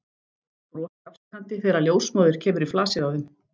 Brosir afsakandi þegar ljósmóðir kemur í flasið á þeim.